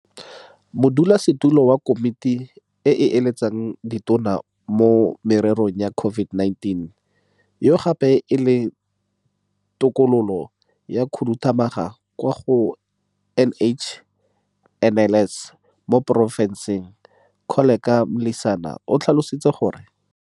Monnasetulo wa Komiti e e Eletsang Ditona mo Mererong ya COVID-19 yo gape e leng Tokololo ya Khuduthamaga kwa go NHLS, Moporofesara Koleka Mlisana, o tlhalositse gore.